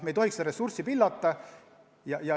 Me ei tohiks ressursse pillata.